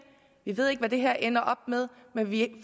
vi ved ikke hvad det her ender med men vi